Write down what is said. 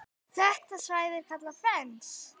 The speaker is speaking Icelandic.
Þetta svæði er kallað Fens.